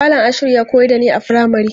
Malam Ashiru ya koyar da ni a firamari.